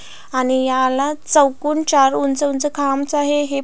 आणि ह्याला चोकान चार उंच उंच खांब आहे हे--